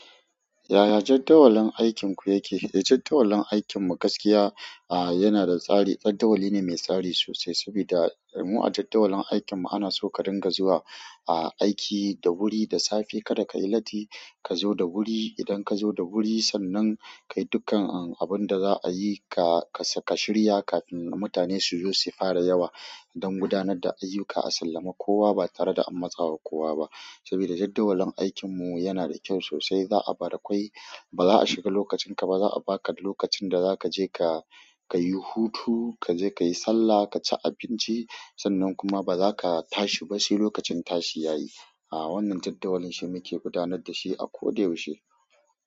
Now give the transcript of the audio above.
Yaya jaddawalin aikinku yake? Jadawalin aikinmu gaskiya a yana da tsari. Jadawali ne mai tsari sosai saboda mu a jadawalin aikinmu ana so ka dinga zuwa aiki da wuri, da safe kada ka yi latti ka zo da wuri. Idan ka zo da wuri sannan ka yi dukkan abin da za a yi ka shirya kafin mutane su zo su fara yawa don gudanar da ayyuka a sallami. Kowa ba tare da an matsawa kowa ba saboda jadawalin aikinmu yana da kyau sosai. Za a barakwai, ba za a shiga lokacinka ba. Za a baka lokacin da zaka je kayi hutu, kaje kayi sallah ka ci abinci. Sannan kuma ba za ka tashi ba sai lokacin tashi ya yi. A wannan jaddawalin shi muke gudanar da shi a ko da yaushe.